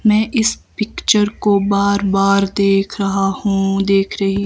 मैं इस पिक्चर को बार बार देख रहा हूं देख रही--